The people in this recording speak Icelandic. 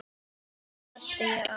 Svo smelli ég af.